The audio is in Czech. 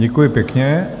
Děkuji pěkně.